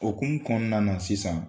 O kun kɔnɔna na sisan.